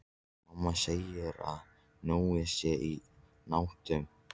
Mamma segir að Nonni sé í mútum.